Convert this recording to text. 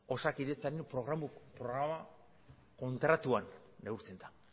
osakidetzaren programa kontratuan neurtzen da